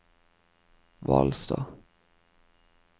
Hvalstad